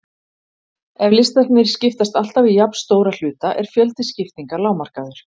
Ef listarnir skiptast alltaf í jafnstóra hluta er fjöldi skiptinga lágmarkaður.